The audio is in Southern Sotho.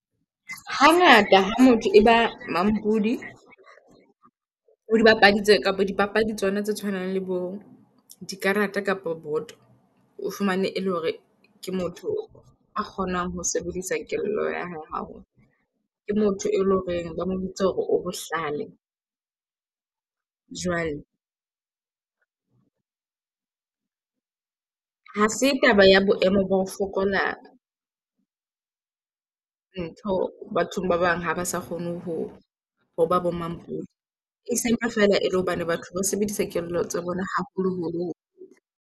Hangata ha motho e ba mampudi ho dipapadi tse kapa dipapadi tsona tse tshwanang le bo di karata kapo boto o fumane e le hore ke motho a kgonang ho sebedisa kelello ya hae haholo. Ke motho e loreng ba mo bitsa hore o bohlale. Jwale ha se taba ya boemo ba ho fokola ntho bathong ba bang ha ba sa kgone ho ho ba bo mampudi. E sempa fela e le hobane batho ba sebedisa kelello tsa bona haholo holo.